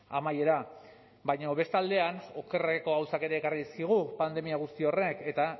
amaiera baina beste aldean okerreko gauzak ere ekarri dizkigu pandemia guzti horrek eta